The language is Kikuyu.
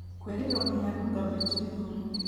kwĩrirwo nginya dunga beach githumo